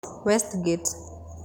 Westgate